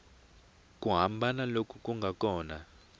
ku hambana loku nga kona